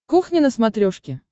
кухня на смотрешке